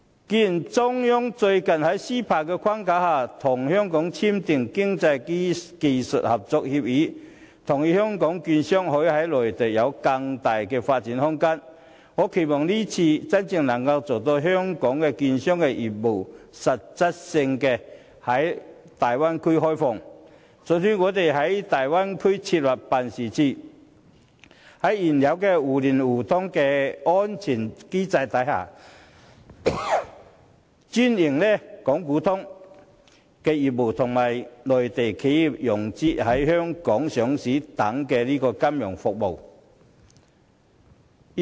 既然中央最近在 CEPA 的框架下，與香港簽訂《經濟技術合作協議》，同意香港券商可以在內地有更大的發展空間，我期望這次真能做到向香港券商實質開放業務，准許我們在大灣區設立辦事處，在現有互聯互通的安全機制下，專營港股通業務，以及協助內地企業融資，提供在香港上市等金融服務。